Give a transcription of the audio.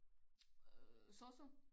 Øh sosu?